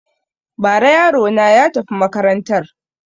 Ba ra yarona ya tafi makarantar